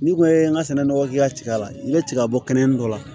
N'i ko i ye n ka sɛnɛ nɔgɔ k'i ka tiga la n'i bɛ tigabɔ kɛnɛ dɔ la